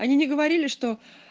они не говорили что